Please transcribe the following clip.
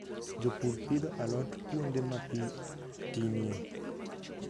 Jopur pidho alot kuonde ma pi tinie.